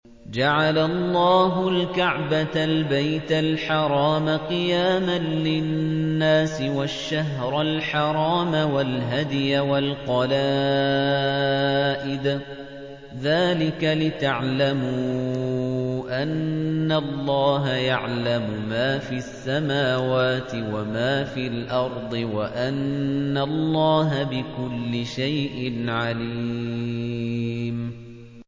۞ جَعَلَ اللَّهُ الْكَعْبَةَ الْبَيْتَ الْحَرَامَ قِيَامًا لِّلنَّاسِ وَالشَّهْرَ الْحَرَامَ وَالْهَدْيَ وَالْقَلَائِدَ ۚ ذَٰلِكَ لِتَعْلَمُوا أَنَّ اللَّهَ يَعْلَمُ مَا فِي السَّمَاوَاتِ وَمَا فِي الْأَرْضِ وَأَنَّ اللَّهَ بِكُلِّ شَيْءٍ عَلِيمٌ